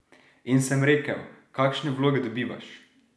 In sem rekel, kakšne vloge dobivaš?